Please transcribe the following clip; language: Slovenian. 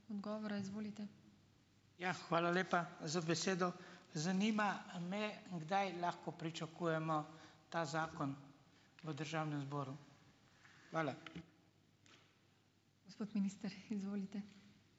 Ja, hvala lepa za besedo. Zanima me, kdaj lahko pričakujemo ta zakon v državnem zboru. Hvala.